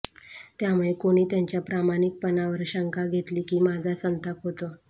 त्यामुळे कोणी त्यांच्या प्रामाणिकपणावर शंका घेतली की माझा संताप होतो